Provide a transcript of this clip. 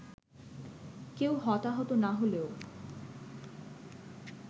কেউ হতাহত না হলেও